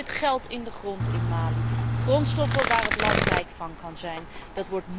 Er zit geld in de grond in Mali, grondstoffen waar het land rijk van kan worden.